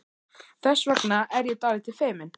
Þess vegna er ég dálítið feimin.